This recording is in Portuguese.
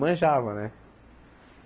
Manjava, né?